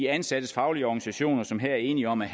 ansattes faglige organisationer som er enige om at